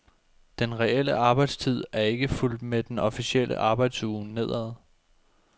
Den reelle arbejdstid er ikke fulgt med den officielle arbejdsuge nedad.